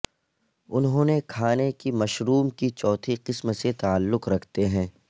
انہوں نے کھانے کی مشروم کی چوتھی قسم سے تعلق رکھتے ہیں